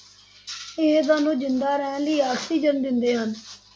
ਇਹ ਸਾਨੂੰ ਜ਼ਿੰਦਾ ਰਹਿਣ ਲਈ ਆਕਸੀਜਨ ਦਿੰਦੇ ਹਨ,